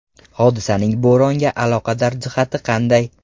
Hodisaning bo‘ronga aloqador jihati qanday?